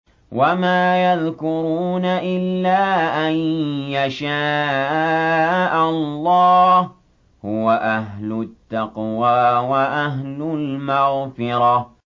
وَمَا يَذْكُرُونَ إِلَّا أَن يَشَاءَ اللَّهُ ۚ هُوَ أَهْلُ التَّقْوَىٰ وَأَهْلُ الْمَغْفِرَةِ